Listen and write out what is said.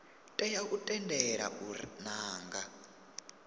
tea u tendelwa u nanga